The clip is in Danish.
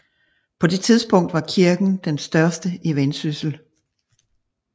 På det tidspunkt var kirken den største i Vendsyssel